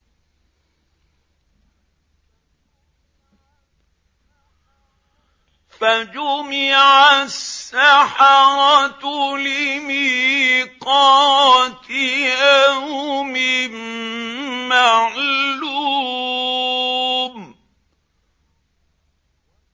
فَجُمِعَ السَّحَرَةُ لِمِيقَاتِ يَوْمٍ مَّعْلُومٍ